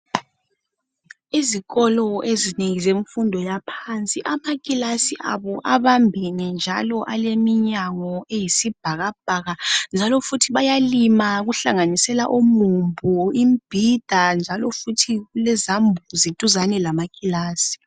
Izikolo eziningi zemfundo yaphansi amakilasi abo abambene njalo aleminyango eyusibhakabhaka, njalo futhi bayalima okuhlanganisela umumbu, imibhida njalo futhi kulezambuzi duzane lamakilasi